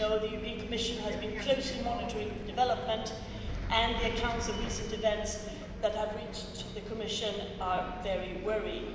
As you know, the European Commission has been closely monitoring the developments and the accounts of recent events that have reached to the Commission are very worrying.